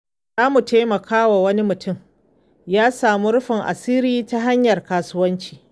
Za mu taimaka wa wani mutumi ya samu rufin asiri ta hanyar kasuwanci.